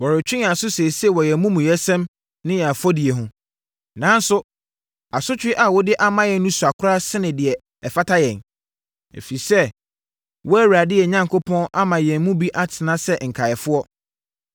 “Wɔretwe yɛn aso seesei wɔ yɛn amumuyɛsɛm ne yɛn afɔdie ho. Nanso, asotwe a wode ama yɛn no sua koraa sene sɛdeɛ ɛfata yɛn, ɛfiri sɛ, wo Awurade, yɛn Onyankopɔn ama yɛn mu bi atena sɛ nkaeɛfoɔ.